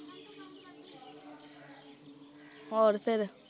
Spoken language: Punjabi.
ਹੋਰ ਫਿਰ